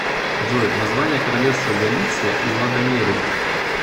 джой название королевство галиция и лодомерия